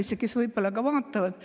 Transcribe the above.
Suur tänu, professor Everaus!